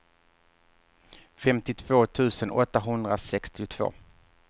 femtiotvå tusen åttahundrasextiotvå